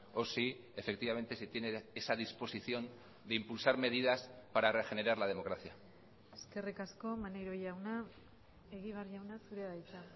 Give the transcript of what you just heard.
o si efectivamente se tiene esa disposición de impulsar medidas para regenerar la democracia eskerrik asko maneiro jauna egibar jauna zurea da hitza